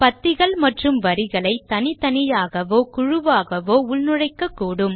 பத்திகள் மற்றும் வரிகளை தனித்தனியாகவோ குழுவாகவோ உள்நுழைக்கக்கூடும்